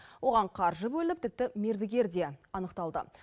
оған қаржы бөлініп тіпті мердігер де анықталды